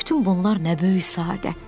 bütün bunlar nə böyük səadətdir!